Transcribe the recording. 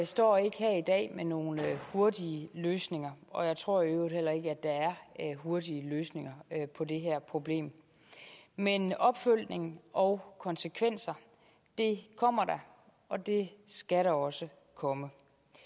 står ikke her i dag med nogle hurtige løsninger og jeg tror i øvrigt heller ikke at der er hurtige løsninger på det her problem men opfølgning og konsekvenser kommer der og det skal der også komme